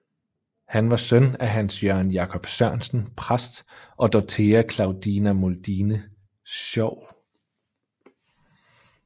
Han var søn af Hans Jørgen Jacob Sørensen præst og Dorthea Claudina Mundine Schow